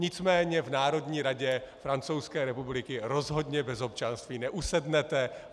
Nicméně v Národní radě Francouzské republiky rozhodně bez občanství neusednete.